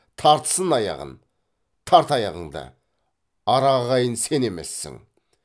тартсын аяғын тарт аяғыңды ара ағайын сен емессің